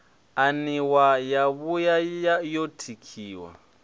aniwa yo bua yo tikiwa